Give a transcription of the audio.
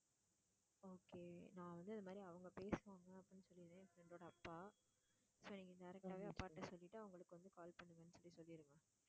okay நான் வந்து இது மாதிரி அவங்க பேசுவாங்க அப்படின்னு சொல்லிடுறேன் என் friend ஓட அப்பா சரி direct ஆவே அப்பாட்ட சொல்லிட்டு அவங்களுக்கு வந்து call பண்ணுங்கன்னு சொல்லி சொல்லிடுங்க.